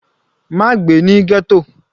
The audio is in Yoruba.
Má gbé ní ghetto.